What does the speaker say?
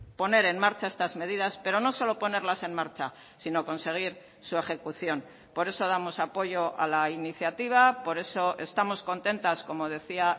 poner en marcha estas medidas pero no solo ponerlas en marcha sino conseguir su ejecución por eso damos apoyo a la iniciativa por eso estamos contentas como decía